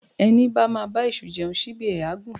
Ẹní bá ma bá èṣù jeun ṣíbí ẹ̀ á gùn